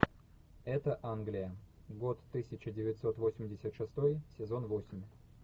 это англия год тысяча девятьсот восемьдесят шестой сезон восемь